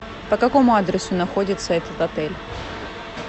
по какому адресу находится этот отель